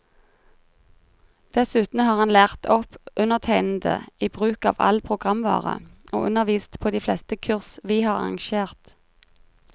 Dessuten har han lært opp undertegnede i bruk av all programvare, og undervist på de fleste kurs vi har arrangert.